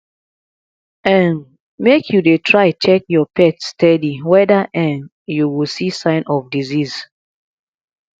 um make you dey try check your pet steady weda um you go see sign of disease